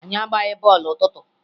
Anyị agbaghị bọọlụ n'ụtụtụ